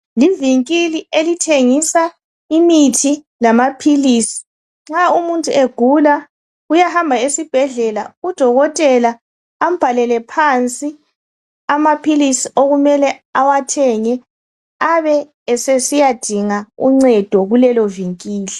Livinkili elithengisa imithi lamaphilisi nxa umuntu egula uyahamba esibhedlela udokotela ambhalele phansi amaphilisi okumele awathenge abesesiyadinga uncedo kulelo vinkili